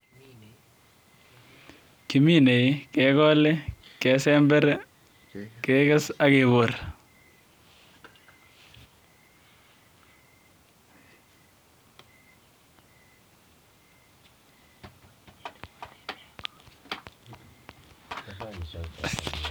Kiminei kigolei kesember ak kebor.